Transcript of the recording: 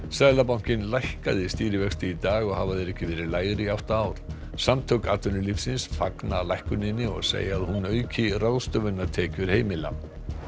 seðlabankinn lækkaði stýrivexti í dag og hafa þeir ekki verið lægri í átta ár samtök atvinnulífsins fagna lækkuninni og segja að hún auki ráðstöfunartekjur heimila